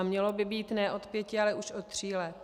A mělo by být ne od pěti, ale už od tří let.